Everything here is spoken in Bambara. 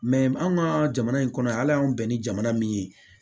anw ka jamana in kɔnɔ yan ala y'an bɛn ni jamana min ye